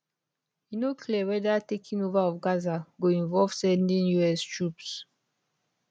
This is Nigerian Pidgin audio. e no clear weda taking over of gaza go involve sending us troops